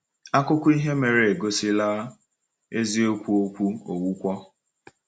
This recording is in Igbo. Akụkọ ihe mere eme egosila eziokwu okwu Onwukwọ.